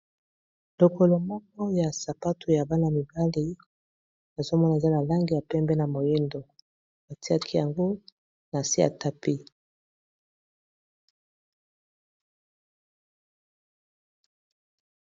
Lokolo moko ya sapatu ya bana mibali nazomona eza na langi ya pembe na moyindo batiaki yango na se ya tapis.